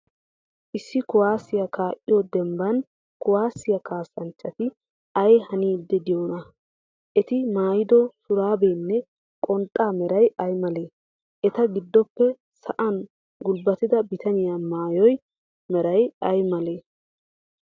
Issi kuwaasiyaa kaa'iyoo dembban kuwaasiya kaassancacati ay haniiddi de'iyoonaa? Eti maayido shuraabiyaanne qonxxaa meray ay malee? Eta giddoppe sa'an gulbbatida bitaniya maayuwaa meray ay malee?